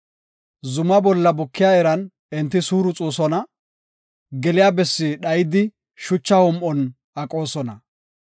Zuma bolla bukiya iran enti suuruxoosona; geliya bessi dhayidi shucha hom7on aqoosona.